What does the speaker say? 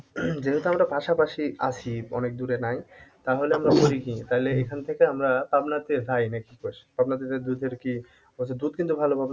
যেহেতু আমরা পাশাপাশি আছি অনেক দূরে নাই তাহলে আমরা করি কি তাইলে এখান থেকে আমরা পাবনা তে যায় নাকি কি কস? পাবনাতে যেয়ে দুধের কি ওই যে দুধ কিন্তু ভালো পাবনার